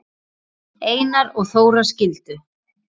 Einar og Þóra skildu.